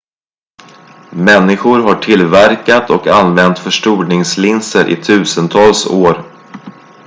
människor har tillverkat och använt förstoringslinser i tusentals år